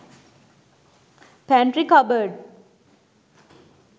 pantry cupboard